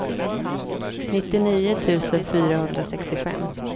nittionio tusen fyrahundrasextiofem